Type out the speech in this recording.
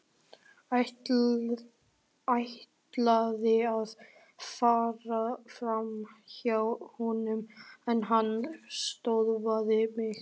Ætlaði að fara framhjá honum en hann stöðvaði mig.